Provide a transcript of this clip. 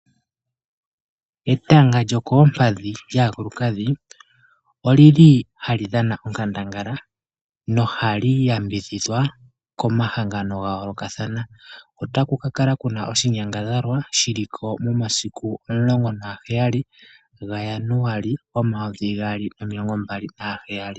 Etanga lyokoompadhi lyaakulukadhi, olili hali dhana onkandangala, nohali yambidhidhwa komahangano gayoolokathana. Otaku kakala kuna oshinyangadhalwa shiliko momasiku omulongo nagaheyali, gaJanuali omayovi gaali nomilongo mbali naheyali.